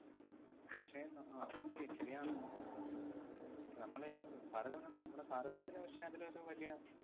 പക്ഷേ, ന~ അഹ് മക്കേ ശരിയാണ് ~ഷെ നമ്മളെ ഏർ അഹ് ഭാരതമെന്നാ നമ്മുടെ ഭാരതത്തിന്‌ പക്ഷെ അതിലൊരു വലിയ